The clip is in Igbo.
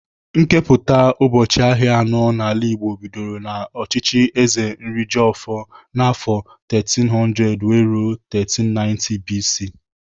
Nkepụta ubọchị ahịa anọ n'ala Igbo bidoro n'ọchịchị Eze Nrijiofor n'afọ 1300-1390 BCE.